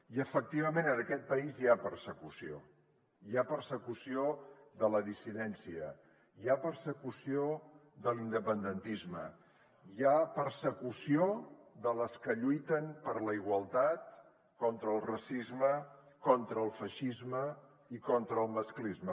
i efectivament en aquest país hi ha persecució hi ha persecució de la dissidència hi ha persecució de l’independentisme hi ha persecució de les que lluiten per la igualtat contra el racisme contra el feixisme i contra el masclisme